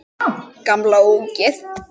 Gamla ógeð!